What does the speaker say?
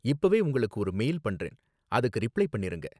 இப்பவே உங்களுக்கு ஒரு மெயில் பண்றேன், அதுக்கு ரிப்ளை பண்ணிருங்க